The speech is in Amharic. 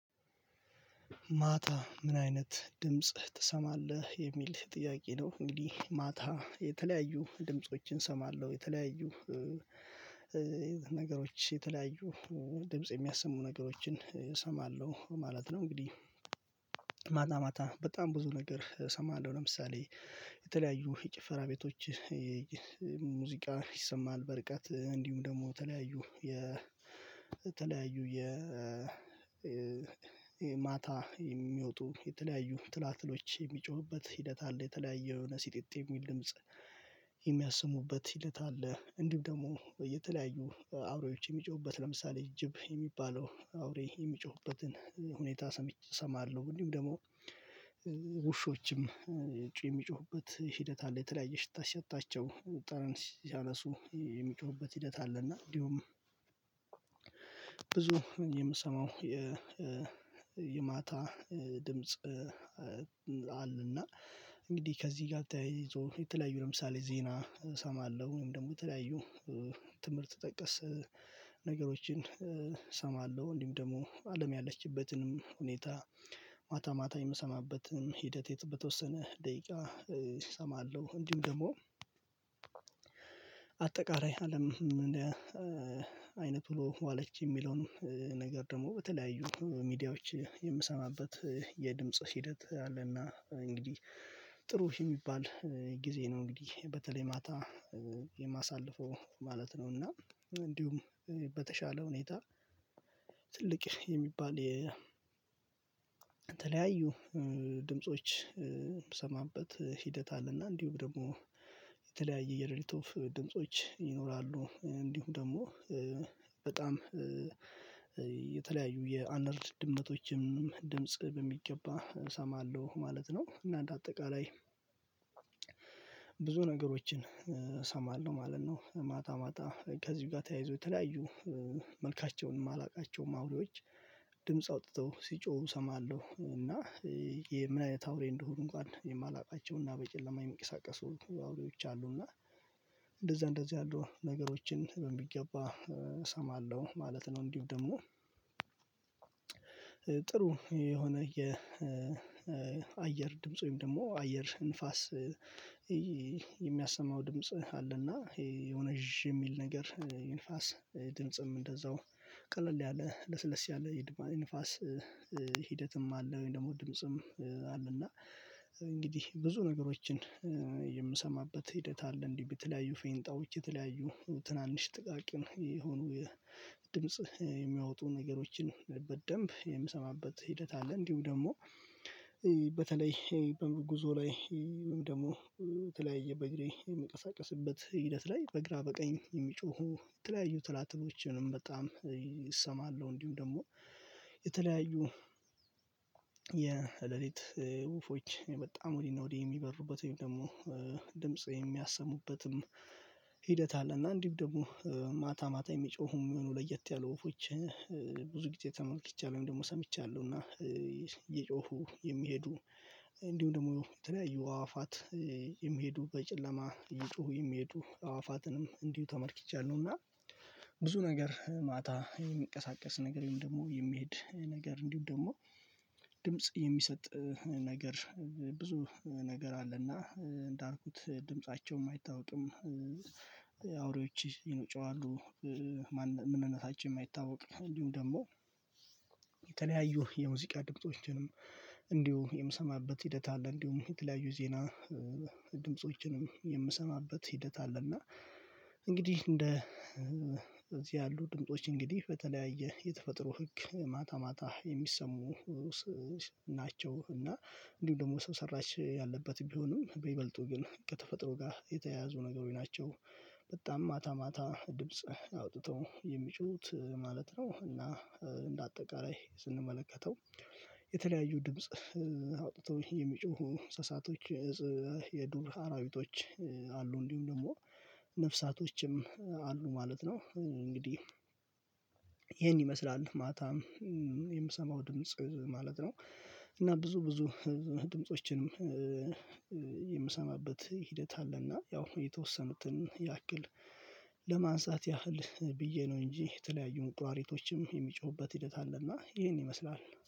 ማታ ምን አይነት ድምጽ ትሰማለህ የሚል ጥያቄ ነው? እንግዲህ ማታ የተለያዩ ድምፆችን እሰማለሁ የተለያዩ ነገሮች የተለያዩ ድምጽ የሚያሰሙ ነገሮችን እሰማለሁ ማለት ነው። እንግዲህ ማታ ማታ በጣም ብዙ ነገር እሰማለሁ ለምሳሌ የተለያዩ የጭፈራ ቤቶች ሙዚቃ ይሰማሃል በርቀት እንዲሁም ደግሞ ተለያዩ የ ተለያዩ የ ማታ የሚወጡ የተለያዩ ትላትሎች የሚጮህበት ሂደት አለ። የተለያየ የሆነ ሲጢጥ የሚል ድምጽ የሚያስሙበት ሂደት አለ። እንዲሁም ደግሞ የተለያዩ አውሬዎች የሚጮሁበት ለምሳሌ ጅብ የሚባለው አውሬ የሚጮሁበትን ሁኔታ እሰማለሁ። ወዲሁም ደግሞ ውሾችም የሚጮሁበት ሂደት አለ። የተለያየ ሽታ ሲሰጣቸው ጥረን ሲያነሱ የሚጮሁበት ሂደት አለና እንዲሁም ብዙ የምሰማው የማታ ድምጽ። አለና እንግዲህ ከዚህ ጋር ተያይዞ የተለያዩ ለምሳሌ ዜና እሰማለሁ ወይም ደግሞ የተለያዩ ትምህርት ጠቀስ ነገሮችን እሰማለሁ። እንዲሁም ደግሞ አለም ያለችበትንም ሁኔታ ማታ ማታ የምሰማበትን ሂደት የተወሰነ ደቂቃ እሰማለሁ። እንዲሁም ደግሞ አጠቃላይ አለም እንደ አይነት ብሎ ዋለች የሚለውንም ነገር ደግሞ በተለያዩ ሚዲያዎች የምሰማበት የድምጽ ሂደት አለና እንግዲህ ጥሩ የሚባል ጊዜ ነው። እንግዲህ በተለይ ማታ የማሳልፈው ማለት ነው። እና እንዲሁም በተሻለ ሁኔታ የሚባል የተለያዩ ድምጾች ሂደት አለና እንዲሁም ደግሞ የተለያየ የሌሊት ኦፍ ድምጾች ይኖራሉ። እንዲሁም ደግሞ በጣም የተለያዩ የአነር ድመቶችም ድምጽ በሚገባ እሰማለሁ ማለት ነው። እና እንደ አጠቃላይ ብዙ ነገሮችን እሰማለሁ ማለት ነው። ማታ ማታ ከዚሁ ጋር ተያይዞ የተለያዩ መልካቸውን የማላውቃቸውም ማውሬዎች ድምጽ አውጥተው ሲጮሁ እሰማለሁ እና ይሄ ምን አይነት አውሬ እንደሆኑ እንኳን የማላውቃቸውና በጨለማ የሚቀሳቀሱ የአውሬዎች አሉ እና እንደዛ እንደዚህ ያሉ ነገሮችን በሚገባ እሰማለሁ ማለት ነው። እንዲሁ ደግሞ ጥሩ የሆነ የአየር ድምጽ ወይም ደግሞ አየር ንፋስ የሚያሰማው ድምጽ አለና ይሄ የሆነ የሚል ነገር የንፋስ ድምጽም እንደዛው ቀለል ያለ ለስለስ ያለ እንፋስ ሂደትም አለ ወይም ደግሞ ድምጽም አለ እና እንግዲህ ብዙ ነገሮችን የምሰማበት ሂደት አለ። እንዲህ ብትለያዩ ፌንጣዎች የተለያዩ ትናንሽ ጥቃቅን የሆኑ የድምጽ የሚያወጡ ነገሮችን በደንብ የምሰማበት ሂደት አለ። እንዲሁ ደግሞ በተለይ በጉዞ ላይ ደግሞ ተለያየ በግሬ የሚቀሳቀስበት ሂደት ላይ በግራ በቀኝ የሚጮሁ የተለያዩ ትላትቦችንም በጣም እሰማለሁ። እንዲሁም ደግሞ የተለያዩ የሌሊት ውፎች በጣም ወዲህ ነው ወዲህ የሚበሩበት ወይም ደግሞ ድምጽ የሚያሰሙበትም ሂደት አለ። እና እንዲሁ ደግሞ ማታ ማታ የሚጮሁ ምኑ ለየት ያሉ ወፎች ብዙ ጊዜ ተመልክቻለሁ ደግሞ ሰምቻለሁ እና እየጮሁ የሚሄዱ እንዲሁ ደግሞ እንትን ያዩ አዋፋት የሚሄዱ በጨለማ እየጮሁ የሚሄዱ አዋፋትንም እንዲሁ ተመልክቻለሁ። እና ብዙ ነገር ማታ የሚቀሳቀስ ነገር ደግሞ የሚሄድ ነገር እንዲሁም ደግሞ ድምጽ የሚሰጥ ነገር ብዙ ነገር አለና እንዳልኩት ድምፃቸውም አይታወቅም። አውሬዎች ይኖጨዋሉ የምንነሳች የማይታወቅ እንዲሁም ደግሞ የተለያዩ የሙዚቃ ድምጾችንም እንዲሁ የምሰማበት ሂደት አለ። እንዲሁም የተለያዩ ዜና ድምጾችንም የምሰማበት ሂደት አለና። እንግዲህ እንደ እዚህ ያሉ ድምጦች እንግዲህ በተለያየ የተፈጥሮ ህግ ማታ ማታ የሚሰሙ ናቸው። እና እንዲሁም ደግሞ ሰው ሰራሽ ያለበት ቢሆንም በይበልጡ ግን ከተፈጥሮ ጋር የተያያዙ ነገሮች ናቸው። በጣም ማታ ማታ ድምጽ አውጥተው የሚጩሁት ማለት ነው። እና እንደ አጠቃላይ ስንመለከተው የተለያዩ ድምጽ አውጥቶ የሚጮሁ እንስሳቶች የዱር አራዊቶች አሉ እንዲሁም ደግሞ ነፍሳቶችም አሉ ማለት ነው። እንግዲህ ይሄን ይመስላል ማታም የምሰማው ድምጽ ማለት ነው። እና ብዙ ብዙ ድምጾችንም የምሰማበት ሂደት አለና ያው የተወሰኑትን ያክል ለማንሳት ያህል ብዬ ነው እንጂ የተለያዩ ቁራሪቶችም የሚጮሁበት ሂደት አለና ይሄን ይመስላል።